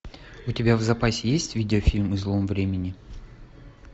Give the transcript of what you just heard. у тебя в запасе есть видеофильм излом времени